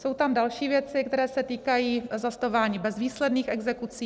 Jsou tam další věci, které se týkají zastavování bezvýsledných exekucí.